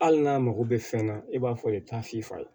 Hali n'a mago bɛ fɛn na i b'a fɔ i ta f'i fa ye